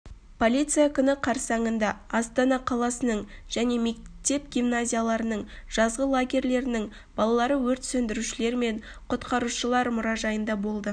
полиция күні қарсаңында астана қаласының және мектеп-гимназияларының жазғы лагерлерінің балалары өрт сөндірушілер мен құтқарушылар мұражайында болды